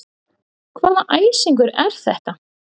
Hvaða æsingur er þetta?